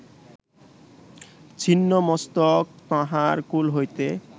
ছিন্ন মস্তক তাঁহার কোল হইতে